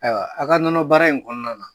Ayiwa, a ka nɔnɔ baara in kɔnɔna na